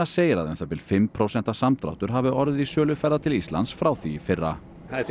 segir að um það bil fimm prósenta samdráttur hafi orðið í sölu ferða til Íslands frá því í fyrra